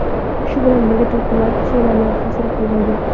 Shu bilan birga, to‘lqinlar sunami hosil qilmaydi.